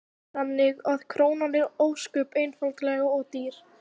Heimir Már Pétursson: Þannig að krónan er ósköp einfaldlega of dýr?